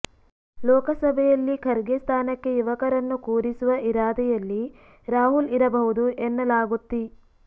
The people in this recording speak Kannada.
ಲೋಕಸಭೆಯಲ್ಲಿ ಖರ್ಗೆ ಸ್ಥಾನಕ್ಕೆ ಯುವಕರನ್ನು ಕೂರಿಸುವ ಇರಾದೆಯಲ್ಲಿ ರಾಹುಲ್ ಇರಬಹುದು ಎನ್ನಲಾಗುತ್ತಿ